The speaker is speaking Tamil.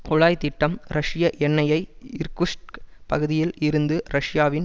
குழாய் திட்டம் ரஷ்ய எண்ணெயை இர்குட்ஸ்க் பகுதியில் இருந்து ரஷ்யாவின்